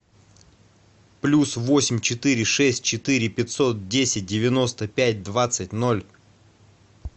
плюс восемь четыре шесть четыре пятьсот десять девяносто пять двадцать ноль